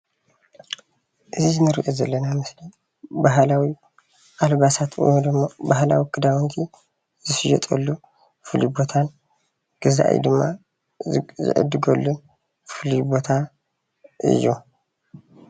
እዚ እንሪኦ ዘለና ምስሊ ባህላዊ ኣልባሳት እሞ ድማ ባህላዊ ክዳውንቲ ዝሽየጠሉ ፍሉይ ቦታ እዩ፡፡ ገዛኢ ድማ ዝዕድገሉን ፉሉይ ቦታ እዩ፡፡